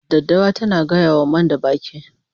Daddawa tana gaya wa manda baki